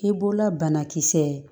I b'ola banakisɛ